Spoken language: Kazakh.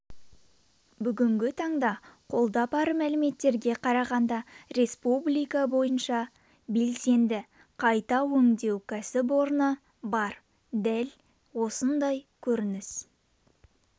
бүгінгі таңда қолда бар мәліметтерге қарағанда республика бойынша белсенді қайта өңдеу кәсіпорыны бар дәл осындай көрініс